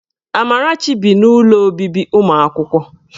Amarachi bi n'ụlọ obibi ụlọ akwụkwọ.